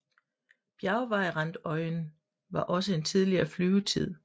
Bjergvejrandøjen har også en tidligere flyvetid